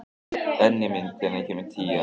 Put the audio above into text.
Benjamín, hvenær kemur tían?